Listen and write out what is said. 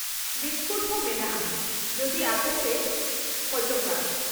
Biscuit ᱦᱚᱸ, ᱢᱮᱱᱟᱜᱼᱟ ᱡᱩᱫᱤ ᱟᱯᱮᱯᱮ ᱠᱷᱚᱡᱚᱜᱼᱟ ᱾